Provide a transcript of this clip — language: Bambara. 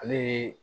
Ale ye